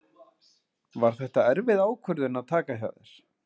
Var þetta erfið ákvörðun að taka hjá þér?